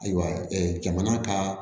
Ayiwa jamana ka